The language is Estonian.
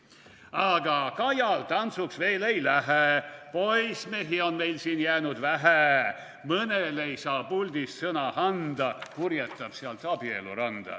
/ Aga Kajal tantsuks veel ei lähe, / poissmehi on meil siia jäänud vähe, / mõnele ei saa puldis sõna anda, / purjetab sealt abieluranda.